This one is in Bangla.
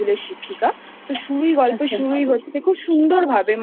তো গল্পের শুরুই হচ্ছে খুব সুন্দর ভাবে